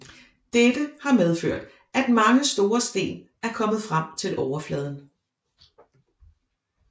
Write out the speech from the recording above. Dette har medført at mange store sten er kommet frem til overfladen